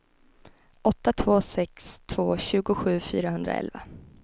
åtta två sex två tjugosju fyrahundraelva